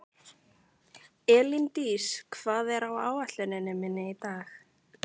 Elíndís, hvað er á áætluninni minni í dag?